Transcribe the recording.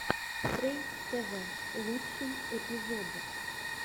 стрэй тэвэ лучший эпизод